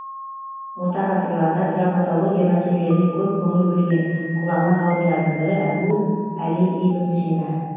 орта ғасырларда травматология мәселелеріне көп көңіл бөлген ғұлама ғалымдардың бірі әбу әли ибн сина